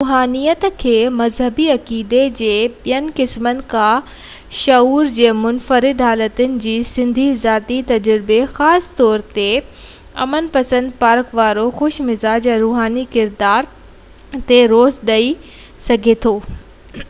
روحانيت کي مذهبي عقيدي ۽ عبادت جي ٻين قسمن کا شعور جي منفرد حالت جي سڌي ذاتي تجربي خاص طور تي امن پسند پرک وارو خوش مزاج يا روحاني ڪردار تي زور ڏيئي ڌار ڪري سگهجي ٿو